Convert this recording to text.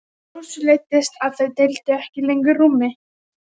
Rósu leiddist að þau deildu ekki lengur rúmi.